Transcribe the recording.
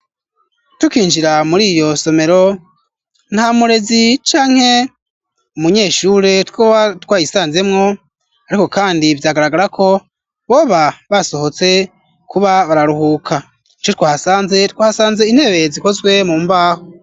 Tukinjira muri iyo somero nta murezi canke umunyeshure twoba twayisanzemwo ariko kandi vyagaragara ko boba basohotse kuba bararuhuka ico twahasanze, Twahasanze intebe zikozwe mu mbaho